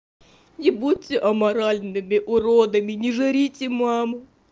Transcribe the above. не будьте аморальными уродами не жрите маму